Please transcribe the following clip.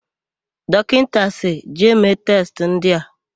Dọkịta sịrị, "jee mee testị ndị a"!